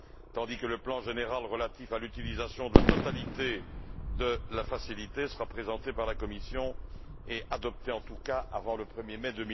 tandis que le plan général relatif à l'utilisation de la totalité de la facilité sera présenté par la Commission et adopté en tout cas avant le 1 mai